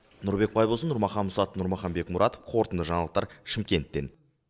нұрбек байбосын нұрмахан мұсатов нұрмахан бекмұратов қорытынды жаңалықтар шымкенттен